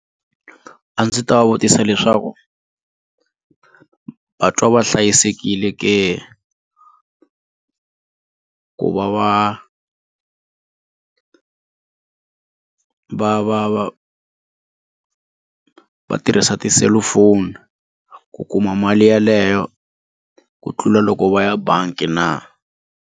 A ndzi ta va vutisa leswaku va twa va hlayisekile ke ku va va ku va va va va tirhisa tiselufoni ku kuma mali yeleyo ku tlula loko va ya bangi na.